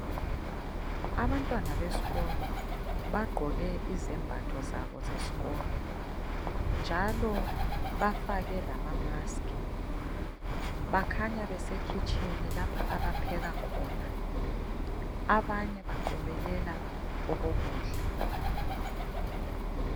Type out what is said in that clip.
Abantwana besikolo bagqoke izembatho zabo zesikolo njalo bafake lama maskhi bakhanya besekitshini lapho abapheka khona abanye baqobelela okokudla.